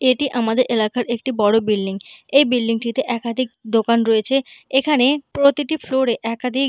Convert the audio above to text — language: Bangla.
এইটি আমাদের এলাকার একটি বড়ো বিল্ডিং । এই বিল্ডিংটিতে একাদিক দোকান রয়েছে। এখানে প্রতিটি ফ্লোরে একাধিক--